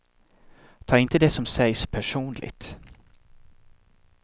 Ta inte det som sägs personligt.